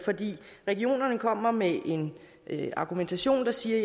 fordi regionerne kommer med en argumentation der siger